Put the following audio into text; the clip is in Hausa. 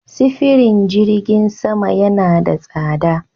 Sifirin jirgin sama yana da tsadar.